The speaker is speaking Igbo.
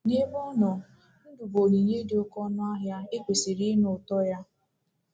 N'ebe ọ nọ, ndụ bụ onyinye dị oké ọnụ ahịa e kwesịrị ịnụ ụtọ ya.